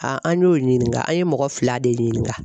an y'o ɲininga a ye mɔgɔ fila de ɲininga